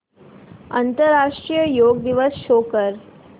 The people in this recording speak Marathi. आंतरराष्ट्रीय योग दिवस शो कर